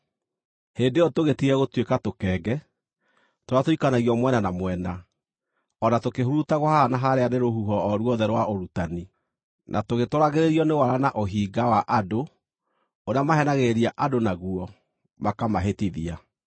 Hĩndĩ ĩyo tũgĩtige gũtuĩka tũkenge, tũrĩa tũikanagio mwena na mwena, o na tũkĩhurutagwo haha na harĩa nĩ rũhuho o ruothe rwa ũrutani, na tũgĩtwaragĩrĩrio nĩ wara na ũhinga wa andũ ũrĩa maheenagĩrĩria andũ naguo makamahĩtithia.